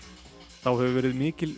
þá hefur verið mikil